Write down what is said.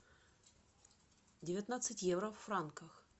девятнадцать евро в франках